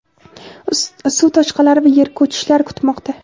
suv toshqinlari va yer ko‘chishlari kutmoqda.